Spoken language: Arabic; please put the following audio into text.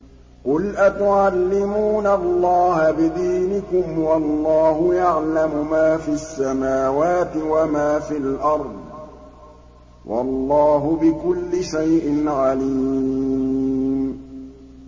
قُلْ أَتُعَلِّمُونَ اللَّهَ بِدِينِكُمْ وَاللَّهُ يَعْلَمُ مَا فِي السَّمَاوَاتِ وَمَا فِي الْأَرْضِ ۚ وَاللَّهُ بِكُلِّ شَيْءٍ عَلِيمٌ